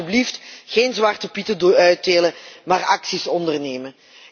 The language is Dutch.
Dus laten wij alsjeblieft geen zwarte pieten uitdelen, maar actie ondernemen.